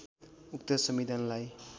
उक्त संविधानलाई